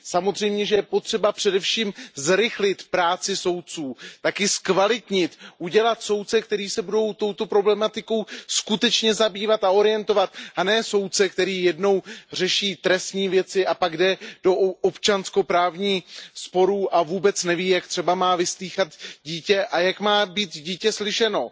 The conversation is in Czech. Samozřejmě, že je potřeba především zrychlit práci soudců, také zkvalitnit, udělat soudce, kteří se budou touto problematikou skutečně zabývat a orientovat se, a ne soudce, který jednou řeší trestní věci a pak jde do občanskoprávních sporů a vůbec neví, jak třeba má vyslýchat dítě a jak má být dítě slyšeno.